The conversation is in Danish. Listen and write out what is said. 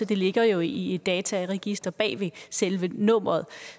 det ligger jo i i dataregisteret bag ved selve nummeret